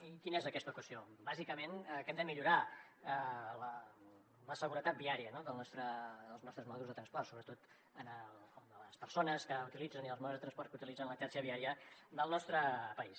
i quina és aquesta equació bàsicament que hem de millorar la seguretat viària dels nostres modes de transport sobretot el de les persones que els utilitzen i els modes de transport que utilitza la xarxa viària del nostre país